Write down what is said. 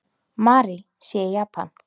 Mary sé í Japan.